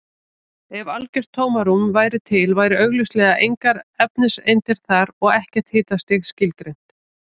Ef algjört tómarúm væri til væru augljóslega engar efniseindir þar og ekkert hitastig skilgreint.